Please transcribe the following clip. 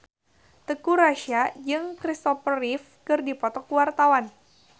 Teuku Rassya jeung Christopher Reeve keur dipoto ku wartawan